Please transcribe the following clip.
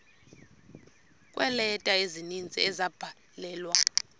kweeleta ezininzi ezabhalelwa